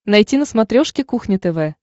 найти на смотрешке кухня тв